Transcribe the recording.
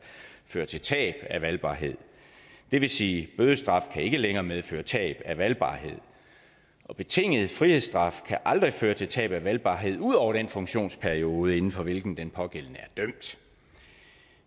føre til tab af valgbarhed det vil sige at bødestraf ikke længere kan medføre tab af valgbarhed betinget frihedsstraf kan aldrig føre til tab af valgbarhed ud over den funktionsperiode inden for hvilken den pågældende